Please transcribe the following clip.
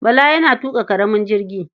Bala yana tuƙa ƙaramin jirgi.